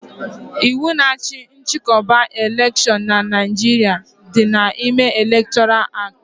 Ịwu na achị nchịkọba elekshon n'Naijiria dị n'ime elektoral acti